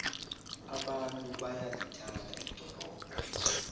abantu bayalithanda ldorobho